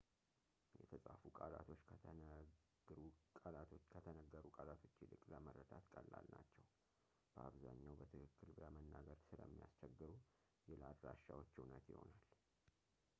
የተጻፉ ቃላቶች ከተነግሩ ቃላቶች ይልቅ ለመረዳት ቀላል ናቸው። በአብዛኛው በትክክል ለመናገር ስለሚያስቸግሩ ይህ ለአድራሻዎች እውነት ይሆናል